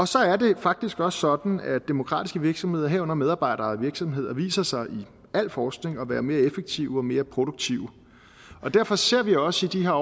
så er det faktisk også sådan at demokratiske virksomheder herunder medarbejderejede virksomheder viser sig i al forskning at være mere effektive og mere produktive og derfor ser vi også i de her